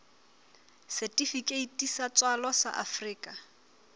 setifikeiti sa tswalo sa afrika